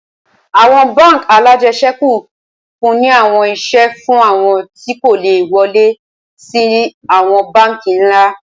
Awọn bánk alájẹsẹ́kù nfunni awọn iṣẹ fun awọn ti ko le wọle si awọn banki nla